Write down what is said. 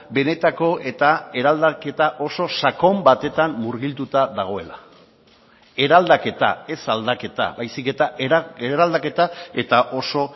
benetako eta eraldaketa oso sakon batetan murgilduta dagoela eraldaketa ez aldaketa baizik eta eraldaketa eta oso